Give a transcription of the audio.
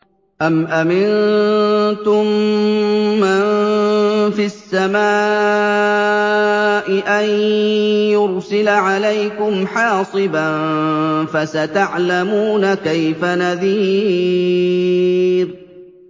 أَمْ أَمِنتُم مَّن فِي السَّمَاءِ أَن يُرْسِلَ عَلَيْكُمْ حَاصِبًا ۖ فَسَتَعْلَمُونَ كَيْفَ نَذِيرِ